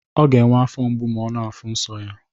Ọ ga enwe afo mgbu ma ọ na afuụ nso ya.